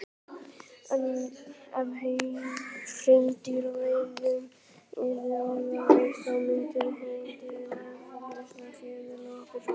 ef hreindýraveiðum yrði alveg hætt þá myndi hreindýrum eflaust fjölga nokkuð hratt